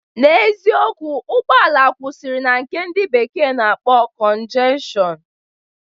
N'eziokwu, ụgbọala kwụsịrị na nke ndị bekee na-akpọ cọnjestshọn